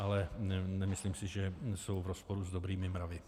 Ale nemyslím si, že jsou v rozporu s dobrými mravy.